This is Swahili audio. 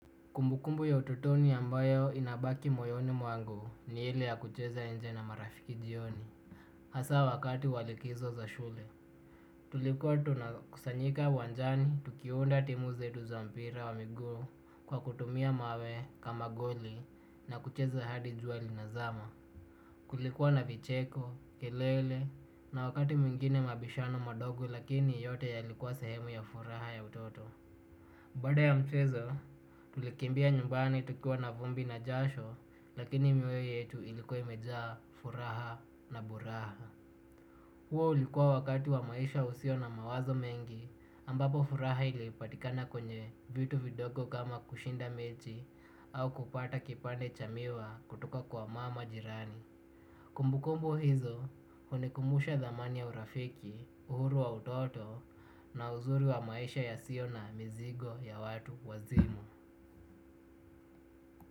Kumbukumbu ya ututoni ambayo inabaki moyoni mwangu ni ile ya kucheza nja na marafiki jioni. Hasa wakati wa likizo za shule. Tulikuwa tuna kusanyika uwanjani tukiunda timu zetu za mpira wa miguu kwa kutumia mawe kama goli na kucheza hadi jua lina zama. Kulikuwa na vicheko, kelele na wakati mwingine mabishano madogo lakini yote yalikuwa sehemu ya furaha ya utoto. Baada ya mchezo tulikimbia nyumbani tukiwa na vumbi na jasho lakini mioyo yetu ilikuwa imejaa furaha na buraha. Huo ulikuwa wakati wa maisha usio na mawazo mengi, ambapo furaha ilipatikana kwenye vitu vidogo kama kushinda mechi au kupata kipande cha miwa kutoka kwa mama jirani. Kumbu kumbu hizo hunikumbusha dhamani ya urafiki, uhuru wa utoto na uzuri wa maisha yasiyo na mizigo ya watu wazima.